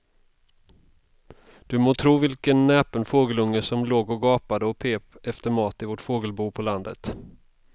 Du må tro vilken näpen fågelunge som låg och gapade och pep efter mat i vårt fågelbo på landet.